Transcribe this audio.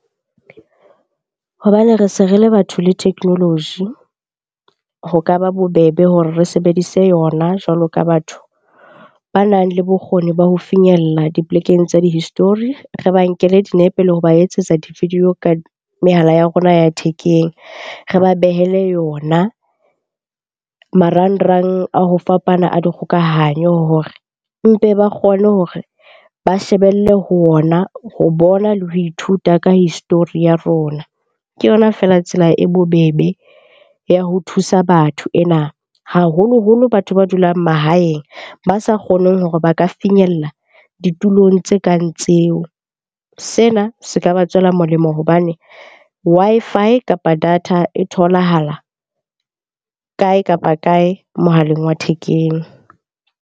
Hobane re se re le batho le technology, ho ka ba bobebe hore re sebedise yona jwalo ka batho banang le bokgoni ba ho finyella dipolekeng tsa di-history. Re ba nkele dinepe le ho ba etsetsa di-video ka mehala ya rona ya thekeng, re ba behele yona marangrang a ho fapana a dikgokahanyo hore mpe ba kgone hore ba shebelle ho ona ho bona le ho ithuta ka history ya rona. Ke yona feela tsela e bobebe ya ho thusa batho ena, haholoholo batho ba dulang mahaeng ba sa kgoneng hore ba ka finyella ditulong tse kang tseo. Sena se ka ba tswela molemo hobane Wi-Fi kapa data e tholahala kae kapa kae mohaleng wa thekeng.